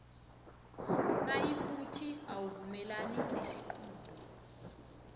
nayikuthi awuvumelani nesiqunto